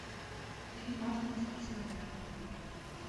фильм мартина скорсезе